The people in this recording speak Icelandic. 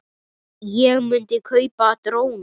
Ég myndi kaupa dróna.